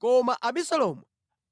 Koma Abisalomu